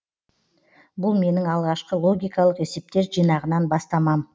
бұл менің алғашқы логикалық есептер жинағынан бастамам